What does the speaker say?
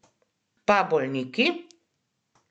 Pa bolniki?